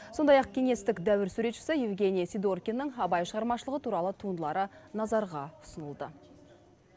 сондай ақ кеңестік дәуір суретшісі евгений сидоркиннің абай шығармашылығы туралы туындылары назарға ұсынылды